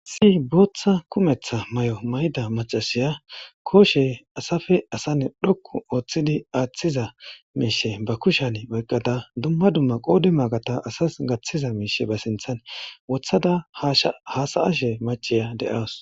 Sii booththa kumetha may7o may7ida macasiya kooshe asafe asane dhokku ooththidi aaththiza miishe ba kushan oyqqada dumma dumma qoodi maagata asas gaththiza miishe ba sinthan wothada shhaasa7ashe maciya de7aws